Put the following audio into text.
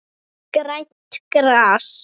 Grænt gras.